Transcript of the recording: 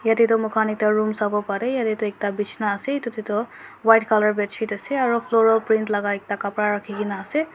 yate toh mokhan ekta room sawoparae yatae toh ekta bisna ase edu tae toh white bedsheet ase aro floral print laka ekta kapra rakhikena ase.